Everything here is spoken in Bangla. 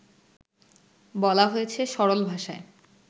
বলা হয়েছে সরল ভাষায়